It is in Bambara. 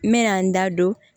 N mɛna n da don